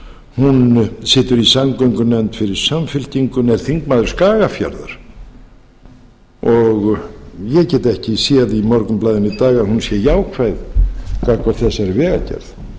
hún situr í samgöngunefnd fyrir samfylkinguna en er þingmaður skagafjarðar ég get ekki séð í morgunblaðinu í dag að hún sé jákvæð gagnvart þessari vegagerð